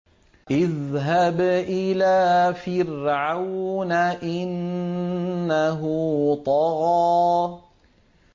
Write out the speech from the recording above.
اذْهَبْ إِلَىٰ فِرْعَوْنَ إِنَّهُ طَغَىٰ